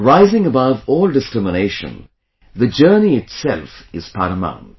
Rising above all discrimination, the journey itself is paramount